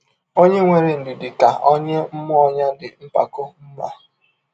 Ọnye nwere ndidi ka ọnye mmụọ ya dị mpakọ mma. ”